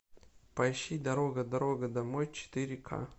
поищи дорога дорога домой четыре ка